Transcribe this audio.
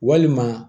Walima